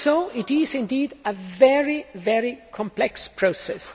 So it is indeed a very complex process.